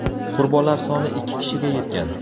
qurbonlar soni ikki kishiga yetgan.